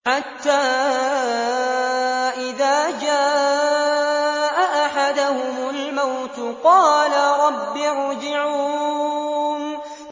حَتَّىٰ إِذَا جَاءَ أَحَدَهُمُ الْمَوْتُ قَالَ رَبِّ ارْجِعُونِ